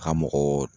Ka mɔgɔ